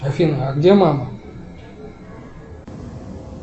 афина а где мама